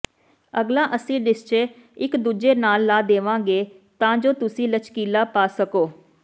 ਅਗਲਾ ਅਸੀਂ ਰਿਸਚੇ ਇਕ ਦੂਜੇ ਨਾਲ ਲਾ ਦੇਵਾਂਗੇ ਤਾਂ ਜੋ ਤੁਸੀਂ ਲਚਕੀਲਾ ਪਾ ਸਕੋ